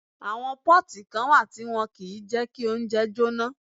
Àwọn pọ́ọ̀tì kan wà tí wọ́n kìí jẹ kí oúnjẹ jóná